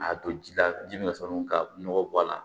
A don ji la ji min ka sɔrɔ ka nɔgɔ bɔ a la